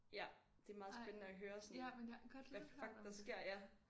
Ja det er meget spændende at høre sådan hvad fuck der sker ja